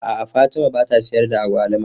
A'a Fatima ba ta sayar da agwaluma.